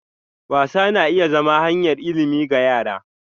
Wasa na iya zama hanyar ilimi ga yara.